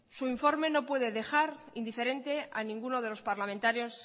su informe no puede dejar indiferente a ninguno de los parlamentarios